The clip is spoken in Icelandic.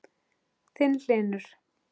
Þinn, Hlynur.